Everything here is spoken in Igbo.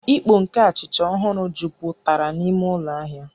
Ìkpó nke achịcha ọhụrụ jupụtara n'ime ụlọ ahịa